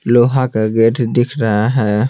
लोहा का गेट दिख रहा है।